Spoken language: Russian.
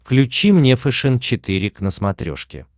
включи мне фэшен четыре к на смотрешке